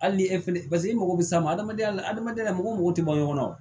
Hali ni e fɛnɛ paseke i mago bɛ s'a ma adamadenya la adamadenya la mɔgɔ tɛ bɔ ɲɔgɔn na wa